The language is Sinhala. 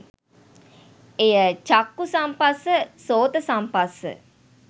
එය චක්ඛු සම්පස්ස, සොත සම්පස්ස,